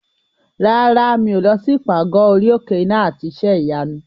Rárá, mi ò lọ sí ìpàgọ́ orí òkè iná àti iṣẹ́ ìyanu.